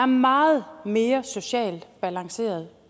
meget mere socialt balanceret